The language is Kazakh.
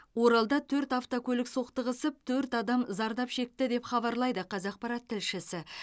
оралда төрт автокөлік соқтығысып төрт адам зардап шекті деп хабарлайды қазақпарат тілшісі